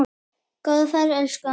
Góða ferð elsku amma.